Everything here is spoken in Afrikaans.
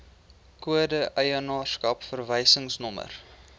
kode eienaarskap verwysingsnommer